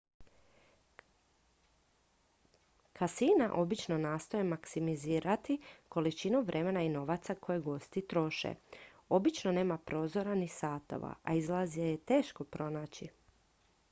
kasina obično nastoje maksimizirati količinu vremena i novaca koje gosti troše obično nema prozora ni satova a izlaze je teško pronaći